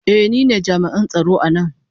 Ee, ni ne jami'in tsaro a nan.